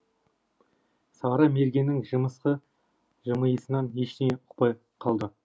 сары мергеннің жымысқы жымиысынан ештеңе ұқпай қалды